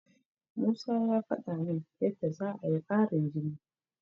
Musa ya faɗa min yadda za'a yi ƙarin jini.